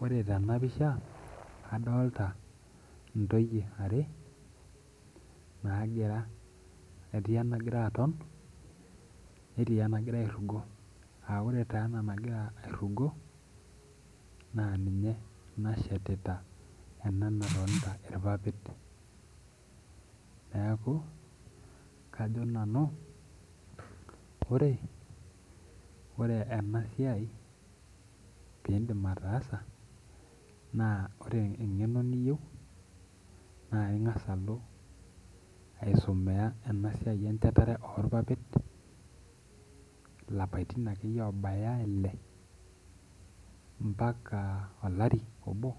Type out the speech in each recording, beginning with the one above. Ore tenapisha adolta ntoyie are etii enagira aton netii enagira airugo aa ore taa ena nagira airugo na ninye nashetita ena natonta irpapit neaku kajo nanu ore enasiai pindim ataasa na ore engeno nayieu na pingasa alo aisumiarnasiai enchetare orpapit lapaitin akeyie obaya Ile mbaka olari obo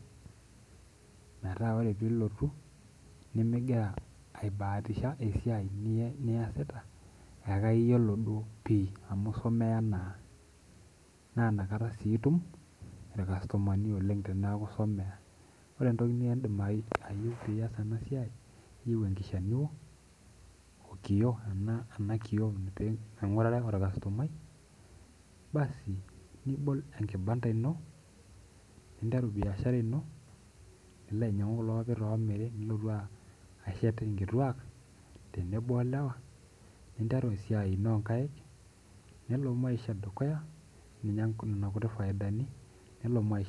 metaa ore piloti nimingira aibaatisha esiai niasita amu isomea naa na nakata si itum irkastomani kumok teneaku isomea, ore entoki niyeu pias enasiai na iyeiu enkishanuo we na kiyoo peingur ate orkastomai basi nibol enkibananda ino nibol biashara ino nilo ainyangu kulo papitashet nkituak tenebo olewa nelo maisha dukuya ninya nona kuti faidani nelo maisha.